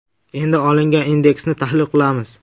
Endi olingan indeksni tahlil qilamiz.